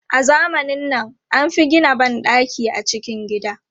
A zamanin nan, an fi gina ban ɗaki a cikin gida.